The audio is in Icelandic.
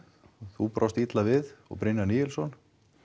þú brást illa við og Níelsson